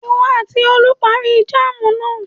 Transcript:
Ìwọ àti Olú parí jáámù náà.